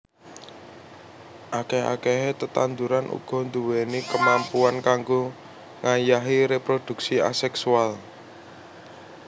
Akèh akèhé tetanduran uga nduwèni kamampuan kanggo ngayahi réprodhuksi asèksual